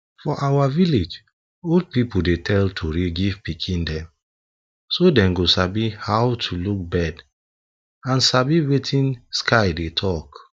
for our village old people dey tell tori give pikin dem so dem go sabi how to look bird and sabi wetin sky dey talk